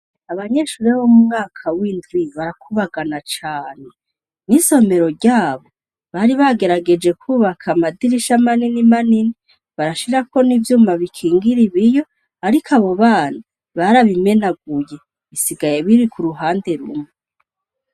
Abanyeshure bo mu mwaka w'indwi barakubagana cane. N'isomero ry'abo bari bagerageje kwubaka amadirisha manini manini barashirako n'ivyuma bikingira ibiyo. Ariko abo bana barabimenaguye bisigaye biri ku ruhande rumwe.